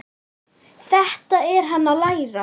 Þetta er hann að læra!